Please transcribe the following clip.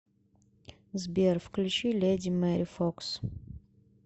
сбер включи леди мэри фокс